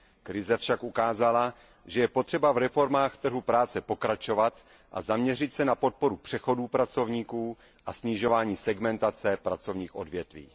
Krize však ukázala, že je potřeba v reformách trhu práce pokračovat a zaměřit se na podporu přechodů pracovníků a snižování segmentace pracovních odvětví.